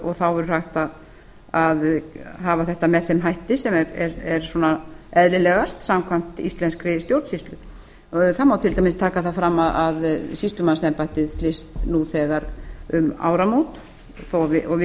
og þá verður hægt að hafa þetta með þeim hætti sem er eðlilegast samkvæmt íslenskri stjórnsýslu það má til dæmis taka það fram að sýslumannsembættið flyst nú þegar um áramót svið